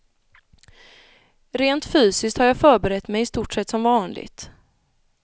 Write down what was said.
Rent fysiskt har jag förberett mig i stort sett som vanligt.